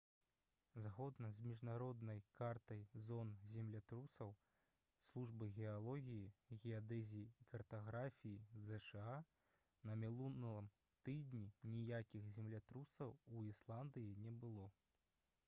згодна з міжнароднай картай зон землятрусаў службы геалогіі геадэзіі і картаграфіі зша на мінулым тыдні ніякіх землятрусаў у ісландыі не было